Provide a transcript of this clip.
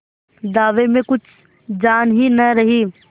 दावे में कुछ जान ही न रही